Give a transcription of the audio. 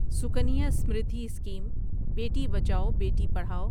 Sukanya Samriddhi scheme Beti Bachao Beti Padhao